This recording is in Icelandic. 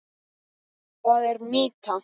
Það er mýta.